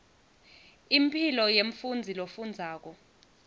impilo yemfundzi lofundzako